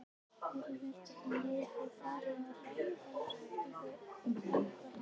Hjörtur Hjartarson: Er eitthvað farið að ræða um skiptingu embætta?